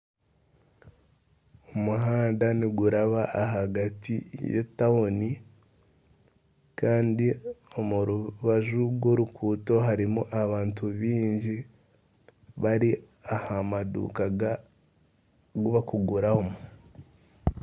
Omuhanda niguraba ahagati y'etauni kandi omu rubaju rw'oruguuto harimu abantu baingi bari aha maduuka agu barikuguramu